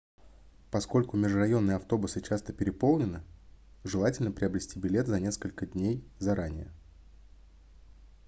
поскольку межрайонные автобусы часто переполнены желательно приобрести билет за несколько дней заранее